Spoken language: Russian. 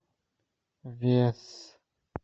вес